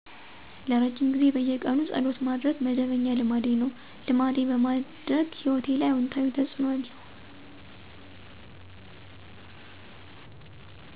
ለረጅም ጊዜ በየቀኑ ፀሎት ማድረግ መደበኛ ልማዴ ነው። ልማዴ በማድረግ ሂወቴ ላይ አውታዊ ተፅዕኖ አለዉ።